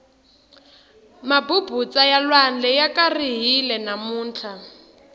mabubutsa ya lwandle ya karihile namuntlha